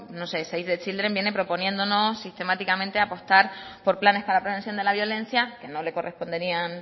save the children viene proponiéndonos sistemáticamente apostar por planes para la prevención de la violencia que no le corresponderían